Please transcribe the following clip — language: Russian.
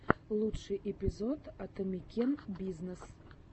лучший эпизод атамекен бизнес